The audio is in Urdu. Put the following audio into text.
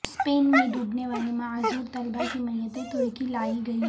اسپین میں ڈوبنے والے معذور طلبہ کی میتیں ترکی لائی گئیں